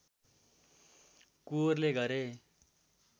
कुँवरले गरे